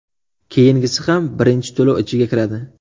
Keyingisi ham birinchi to‘lov ichiga kiradi.